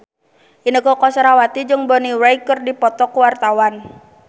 Inneke Koesherawati jeung Bonnie Wright keur dipoto ku wartawan